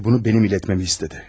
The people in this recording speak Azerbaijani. Və bunu mənim ilətməmi istədi.